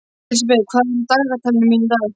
Elísabeth, hvað er á dagatalinu mínu í dag?